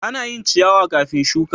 Ana yin ciyawa kafin shuka.